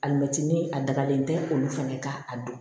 Alimɛti a dabalen tɛ olu fana ka a dɔn